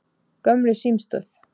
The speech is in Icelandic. Gömlu símstöð